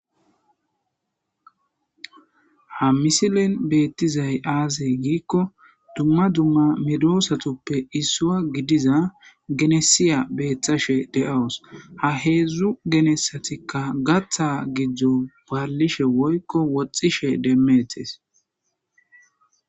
ha misilin beettizay aazey giikko dumma dumma medoosatuppe issua gidiza genesiya beeththashe de7awus ha heedzdzu genessatikka gatha gido ballishe woykko woxxishe demmetes